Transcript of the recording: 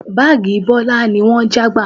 Báàgì Bọlá ni wọ́n já gbà